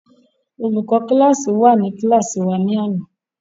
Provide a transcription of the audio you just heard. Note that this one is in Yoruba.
Olùkọ́ kíláàsì wà ní kíláàsì wa lánàá?